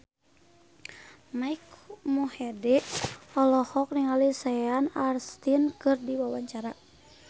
Mike Mohede olohok ningali Sean Astin keur diwawancara